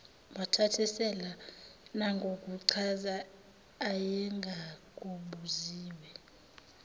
wathasisela nangokuchaza ayengakubuziwe